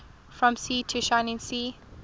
from sea to shining sea